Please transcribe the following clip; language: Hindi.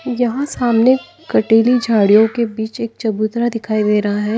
यहां सामने कटीली झाड़ियों के बीच एक चबूतरा दिखाई दे रहा है।